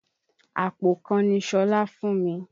Àpò kan ni Ṣọlá fún mi.